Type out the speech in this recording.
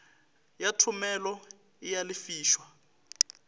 ya thomelo e a lefišwa